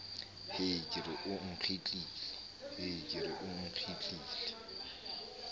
hee ke re o nkgitlile